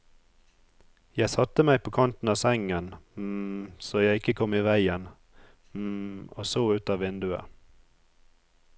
Jeg satte meg på kanten av sengen, så jeg ikke kom i veien, og så ut av vinduet.